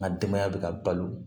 N ka denbaya bɛ ka balo